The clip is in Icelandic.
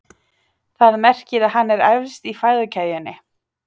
Það merkir að hann er efst í fæðukeðjunni.